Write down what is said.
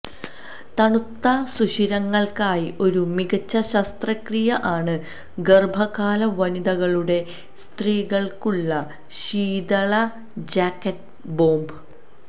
തണുത്ത സുഷിരങ്ങൾക്കായി ഒരു മികച്ച ശസ്ത്രക്രിയ ആണ് ഗർഭകാല വനിതകളുടെ സ്ത്രീകള്ക്കുള്ള ശീതള ജാക്കറ്റ് ബോംബ്